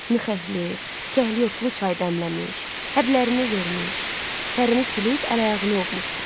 Mixəlli, kəhli otlu çay dəmləmiş, həblərini vermiş, tərini silib əl-ayağını ovmuşdu.